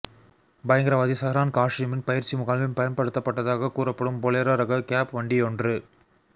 பயங்கரவாதி சஹ்ரான் காஷீமின் பயிற்சி முகாமில் பயன்படுத்தப்பட்டதாக கூறப்படும் பொலேரோ ரக கெப் வண்டியொன்